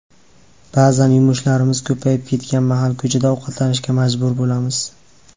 Ba’zan yumushlarimiz ko‘payib ketgan mahal ko‘chada ovqatlanishga majbur bo‘lamiz.